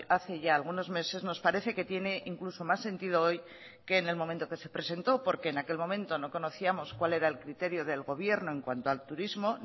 hace ya algunos meses nos parece que tiene incluso más sentido hoy que en el momento que se presentó porque en aquel momento no conocíamos cual era el criterio del gobierno en cuanto al turismo